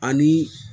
Ani